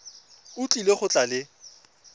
o tlile go tla le